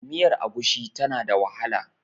miyar agushi tana da wahala